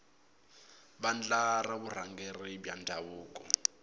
vandla ra vurhangeri bya ndhavuko